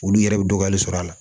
Olu yɛrɛ bɛ dɔgɔyali sɔrɔ a la